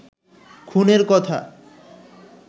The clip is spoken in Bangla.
খুনের কথা